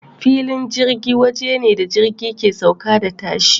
Filin jirgi waje ne da jirgi ke sauka da tashi.